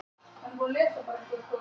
Uppruni orðsins er ekki fyllilega ljós.